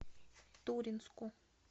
туринску